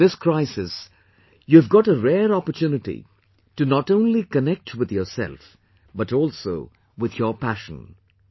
In this crisis, you have got a rare opportunity to not only connect with yourself but also with your passion